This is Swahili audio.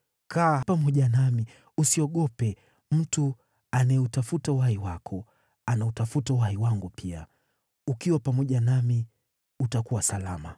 Kaa pamoja nami; usiogope. Mtu anayeutafuta uhai wako anautafuta uhai wangu pia. Ukiwa pamoja nami utakuwa salama.”